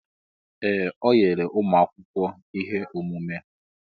Ee! O nyela ụmụ akwụkwọ ihe omume.